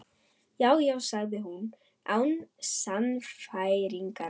Já, já sagði hún án sannfæringar.